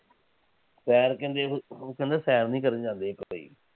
ਸੈਰ ਕਹਿੰਦੇ। ਉਹ ਕਹਿੰਦੇ ਸੈਰ ਨਹੀਂ ਕਰਨ ਜਾਂਦੇ ਇੱਕ